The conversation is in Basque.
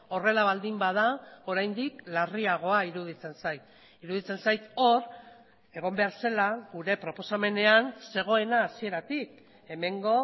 horrela baldin bada oraindik larriagoa iruditzen zait iruditzen zait hor egon behar zela gure proposamenean zegoena hasieratik hemengo